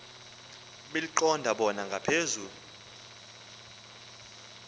beliqonda bona ngaphezu